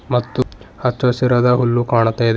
ಮತ್ತು ಹಚ್ಚು ಹಸಿರಾದ ಹುಲ್ಲು ಕಾಣ್ತಾ ಇದೆ.